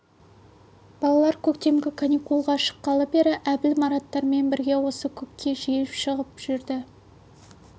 балалар көктемгі каникулға шыққалы бері әбіл мараттармен бірге осы көкке жиі шығып жүрді